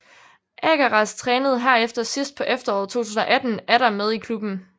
Akharraz trænede herefter sidst på efteråret 2018 atter med i klubben